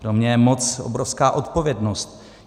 Pro mě je moc obrovská odpovědnost.